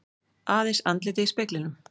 Aðeins andlitið í speglinum.